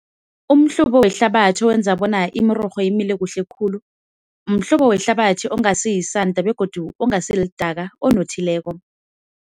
Umhlobo wehlabathi owenza bona imirorho imile kuhle khulu, mhlobo wehlabathi ongasi yisanda begodu ongasi lidaka onothileko.